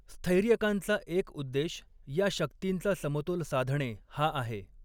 स्थैर्यकांचा एक उद्देश या शक्तींचा समतोल साधणे हा आहे.